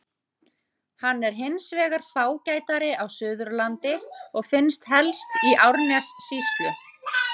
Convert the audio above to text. Hann er hins vegar fágætari á Suðurlandi og finnst helst í Árnessýslu.